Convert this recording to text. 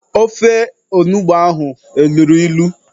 Ofe ahụ onugbo ahụ eluru ilu?